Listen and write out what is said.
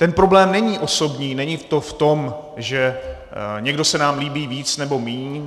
Ten problém není osobní, není to v tom, že někdo se nám líbí víc nebo míň.